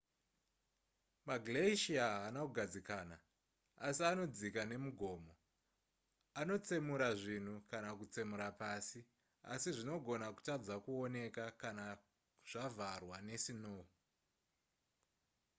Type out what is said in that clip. maglacier haana kugadzikana asi anodzika nemugomo anotsemura zvinhu kana kutsemura pasi asi zvinogona kutadza kuoneka kana zvavharwa nesinou